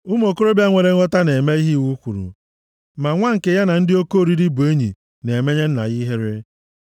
Ụmụ okorobịa nwere nghọta na-eme ihe iwu kwuru, ma nwa nke ya na ndị oke oriri bụ enyi na-emenye nna ya ihere.